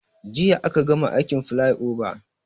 Jiya aka gama aikin filaioban